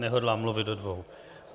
Nehodlám mluvit do dvou.